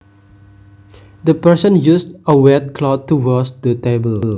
The person used a wet cloth to wash the table